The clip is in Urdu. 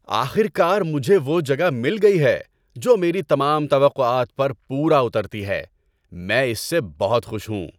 آخر کار، مجھے وہ جگہ مل گئی ہے جو میری تمام توقعات پر پورا اترتی ہے۔ میں اس سے بہت خوش ہوں۔